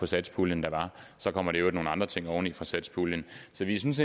satspuljen der var så kommer der i øvrigt nogle andre ting oveni fra satspuljen så jeg synes